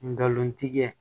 Ngalontigiya